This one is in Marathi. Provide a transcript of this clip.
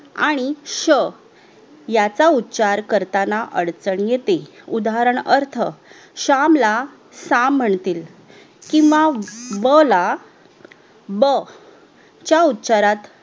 आणि श याचा उच्छार करतांना अडचण येते उदाहरण उदाहरणार्थ श्याम ला साम मनतील किव्हा व ला ब च्या उच्छारात